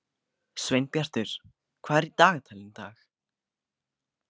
Sveinbjartur, hvað er í dagatalinu í dag?